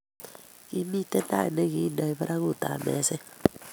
kimiten tait nigikindeno barautab meset